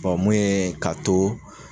mun ye k'a to